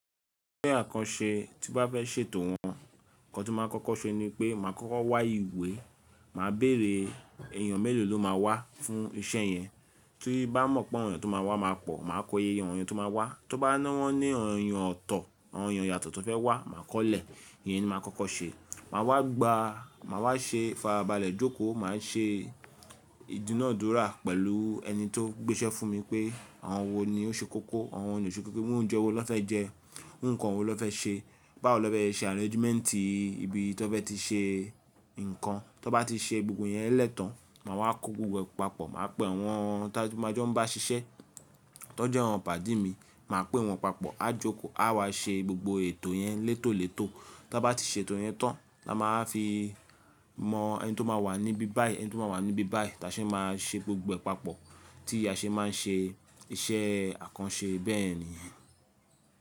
Iṣẹ́ àkànṣe tí bá fẹ́ ṣètò wọ́n, nnkan tí máa ń kọ́kọ́ ṣe ni pé màá kọ́kọ́ wá ìwé, màá bèrè èèyàn mélòó ló máa wá fún iṣẹ́ yẹn. Kí bá mọ̀ pé ọ̀yàn tó máa wá máa pọ̀, màá kọyeyẹ ọ̀yàn tó máa wá. Tí ó bá ná wọ́n ní ọ̀yàn ọ̀tọ̀, ọ̀yàn ìyàtọ̀ tó fẹ́ wá, màá kọ́lẹ̀. Ìyẹn ni màá kọ́kọ́ ṣe. Màá wá gba, màá wá ṣe farabalẹ̀ jókòó, màá ṣe ìdúnàádúrà pẹ̀lú ẹni tó gbéṣẹ́ fún mi pé àwọn wo ni ó ṣe kókó, àwọn wo ni kò ṣe kókó, ohun oúnjẹ wo ló fẹ́ jẹ, ohun nǹkan wo ló fẹ́ ṣe, báwo ló fẹ́ ṣe arrangement ibi tó fẹ́ ti ṣe nǹkan. Tí ó bá ti ṣe gbogbo ẹ̀yẹn lẹ́tàn, màá wá ko gbogbo ẹ̀ papọ̀, màá pe àwọn tí máa jẹ́ ń bá ṣiṣẹ́, tó jẹ́ àwọn pàdí mi. Màá pe wọ́n papọ̀, a jókòó, a wá ṣe gbogbo ètò yẹn létòlètò. Tí a bá ti ṣe ètò yẹn tán, la máa fi mọ ẹni tó máa wà níbi báyìí, ẹni tó máa wà níbi báyìí, tàṣẹ́ máa ṣe gbogbo ẹ̀ papọ̀. Tí a ṣe máa ń ṣe iṣẹ́ àkànṣe bẹ́ẹ̀ ni.